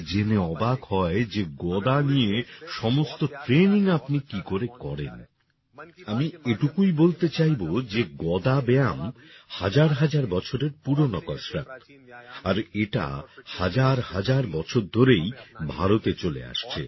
লোকে জেনে অবাক হয় যে গদা নিয়ে সমস্ত ট্রেইনিং আপনি কি করে করেন আমি এটুকুই বলতে চাইবো যে গদা ব্যায়াম হাজার হাজার বছরের পুরনো কসরত আর এটা হাজার হাজার বছর ধরেই ভারতে চলে আসছে